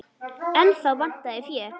En þá vantaði fé.